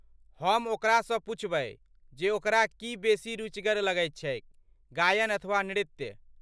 हम ओकरासँ पूछबै जे ओकरा की बेसी रुचिकर लगैत छैक, गायन अथवा नृत्य।